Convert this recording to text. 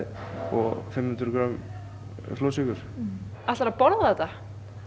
og fimm hundruð grömm flórsykur ætlaru að borða þetta